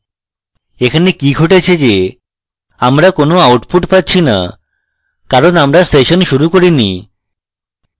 এখানে কি ঘটেছে যে আমরা কোন output পাচ্ছি না কারণ আমরা session শুরু করিনি